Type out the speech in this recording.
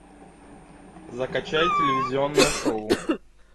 закачай телевизионное шоу